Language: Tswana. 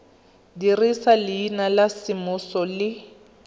dirisa leina la semmuso le